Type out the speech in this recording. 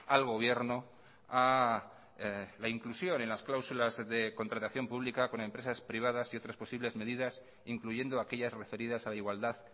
al gobierno a la inclusión en las clausulas de contratación pública con empresas privadas y otras posibles medidas incluyendo aquellas referidas a la igualdad